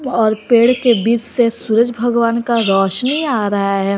और पेड़ के बीच से सूरज भगवान का रौशनी आ रहा है।